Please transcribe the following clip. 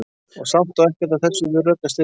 Og samt á ekkert af þessu við rök að styðjast.